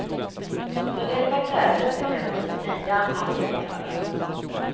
För detta krävdes emellertid nya allierade.